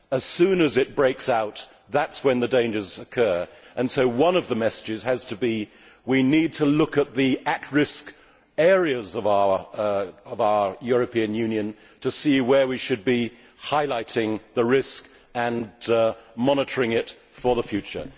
As soon as it breaks out, that is when the dangers occur, and so one of the messages has to be that we need to look at the at risk areas of our European Union to see where we should be highlighting the risk and monitoring it for the future.